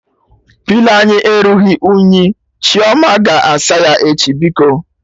Pilo anyị erughị unyi, Chioma ga-asa ya echi biko